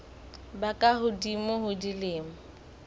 ba ka hodimo ho dilemo